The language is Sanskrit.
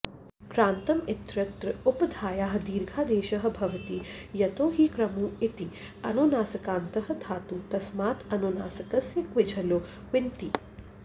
क्रान्तम् इत्यत्र उपधायाः दीर्घादेशः भवति यतो हि क्रमुँ इति अनुनासिकान्तः धातुः तस्मात् अनुनासिकस्य क्विझलोः क्ङिति